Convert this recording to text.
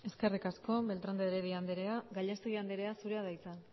eskerrik asko beltrán de heredia andrea gallastegui andrea zurea da hitza